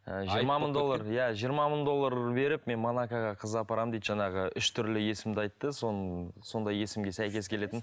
жиырма мың доллар иә жиырма мың доллар беріп мен монакаға қыз апарамын дейді жаңағы үш түрлі есімді айтты соны сондай есімге сәйкес келетін